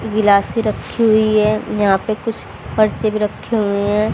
गिलासी रखी हुई है यहां पर कुछ पर्चे भी रखी हुई है।